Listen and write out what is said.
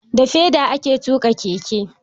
Da feda ake tuƙa keke.